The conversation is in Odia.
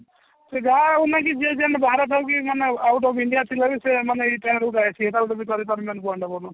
ସେ ଯାହା ହଉନା କି ଯିଏ ଯେମତି ବାର ପାଉକି ମାନେ out of India ଥିଲେ ସେମାନେ ଏଇ time ରେ